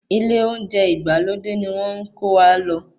Ilé olóúnjẹ ìgbàlódé ni wọ́n ń kówa lọ.